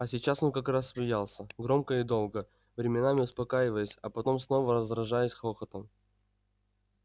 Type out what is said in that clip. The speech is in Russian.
а сейчас он как раз смеялся громко и долго временами успокаиваясь а потом снова разражаясь хохотом